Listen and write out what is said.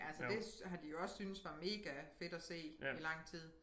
Altså det har de jo også syntes var megafedt at se i lang tid